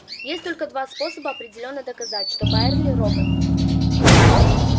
есть только два способа определённо доказать что байерли робот